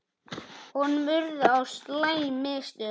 Honum urðu á slæm mistök.